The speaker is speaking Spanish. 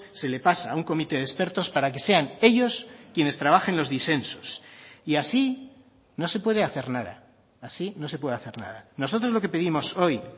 se le pasa a un comité de expertos para que sean ellos quienes trabajen los disensos y así no se puede hacer nada así no se puede hacer nada nosotros lo que pedimos hoy